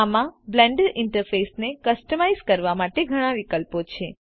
આમાં Blender interface ને customise કરવા માટે ઘણા વિકલ્પો છે